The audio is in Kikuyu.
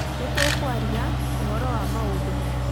Nĩ tũkũaria ũhoro wa maũndũ mothe